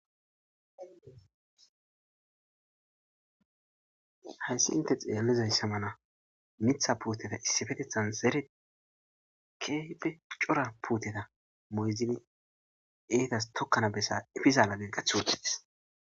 hayssi inte xeellizayissa mala mitha puuteta issifetethan zere keehipe cora puuteta moyzili eetas tokkana bessa efizaala geqathothidis